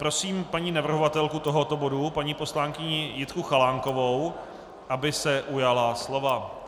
Prosím paní navrhovatelku tohoto bodu, paní poslankyni Jitku Chalánkovou, aby se ujala slova.